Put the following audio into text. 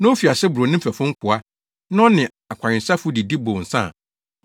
na ofi ase boro ne mfɛfo nkoa, na ɔne akɔwensafo didi, bow nsa a,